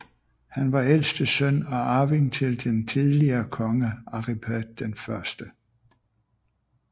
Han var ældste søn og arving til den tidligere konge Aripert 1